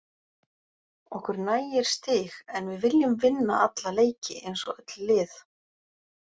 Okkur nægir stig en við viljum vinna alla leiki eins og öll lið.